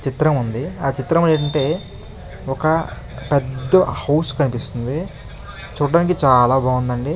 చిత్రం ఉంది ఆ చిత్రం ఏంటంటే ఒక పెద్ద హౌస్ కనిపిస్తుంది చూడడానికి చాలా బాగుందండి.